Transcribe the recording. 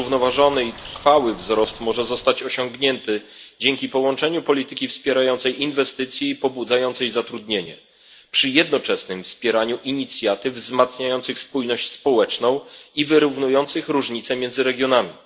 Zrównoważony i trwały wzrost może zostać osiągnięty dzięki połączeniu polityki wspierającej inwestycje i pobudzającej zatrudnienie przy jednoczesnym wspieraniu inicjatyw wzmacniających spójność społeczną i wyrównujących różnice między regionami.